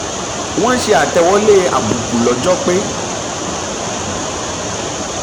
wọ́n ṣe àtẹ̀wọlé àbùkù lọ́jọ́ pé